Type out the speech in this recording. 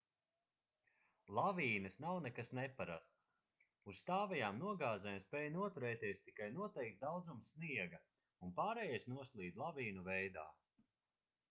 lavīnas nav nekas neparasts uz stāvajām nogāzēm spēj noturēties tikai noteikts daudzums sniega un pārējais noslīd lavīnu veidā